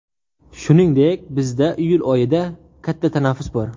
Shuningdek, bizda iyul oyida katta tanaffus bor.